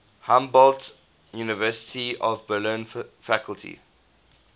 humboldt university of berlin faculty